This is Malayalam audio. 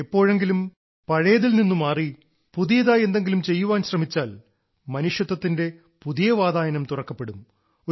എപ്പോഴെങ്കിലും പഴയതിൽ നിന്നും മാറി പുതിയതായി എന്തെങ്കിലും ചെയ്യാൻ ശ്രമിച്ചാൽ മനുഷ്യത്വത്തിന്റെ പുതിയ വാതായനം തുറക്കപ്പെടും